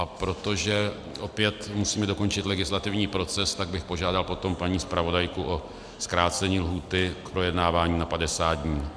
A protože opět musíme dokončit legislativní proces, tak bych požádal potom paní zpravodajku o zkrácení lhůty k projednávání na 50 dní.